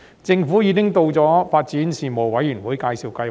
政府已向發展事務委員會介紹發展計劃。